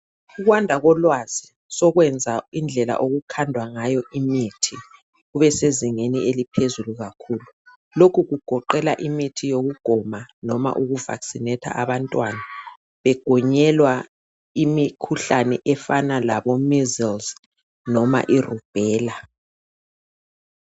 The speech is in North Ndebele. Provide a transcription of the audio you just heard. Ukwanda kolwazi sokwenza indlela okukhandwa ngayo imithi ubesezingeni eliphezulu kakhulu lokhu kugoqela imithi yokugoma noma uku "vaccinate"abantwana begonyelwa imikhuhlane efana labo"measles " noma i" Rubella".